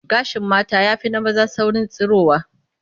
Gashin mata ya fi na maza saurin tsirowa